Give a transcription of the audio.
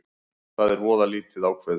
Það er voða lítið ákveðið